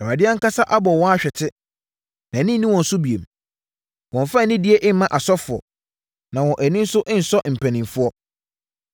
Awurade ankasa abɔ wɔn ahwete; nʼani nni wɔn so bio. Wɔmmfa anidie mma asɔfoɔ, na wɔn ani nnsɔ mpanimfoɔ.